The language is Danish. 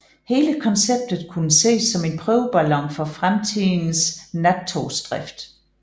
Hele konceptet kunne ses som en prøveballon for fremtidens nattogsdrift